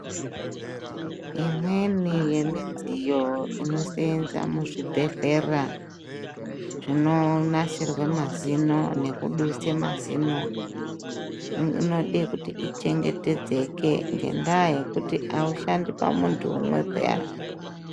Imweni yemidziyo inosenza muzvibhehlera zvinonasira mazino nekudusa mazino inode kuti ichengetedzeke ngenda yekuti aushandi pamuntu umwe peyani.